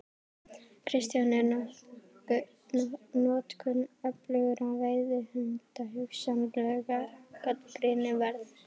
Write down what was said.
Kristján: Er notkun öflugra veiðihunda hugsanlega gagnrýni verð?